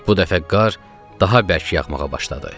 Bu dəfə qar daha bərk yağmağa başladı.